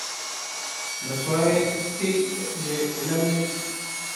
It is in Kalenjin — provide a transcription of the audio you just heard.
Matwa-ech kiy ye inamech,